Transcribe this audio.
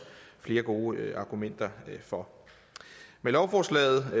flere gode argumenter for med lovforslaget